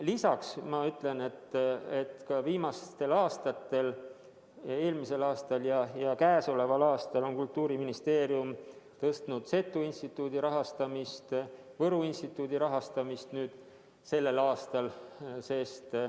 Lisaks ma ütlen, et ka viimastel aastatel – eelmisel aastal ja käesoleval aastal – on Kultuuriministeerium suurendanud Seto Instituudi rahastamist ning Võru Instituudi rahastamist sellel aastal.